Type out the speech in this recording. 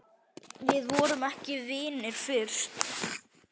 Við vorum ekki vinir fyrst.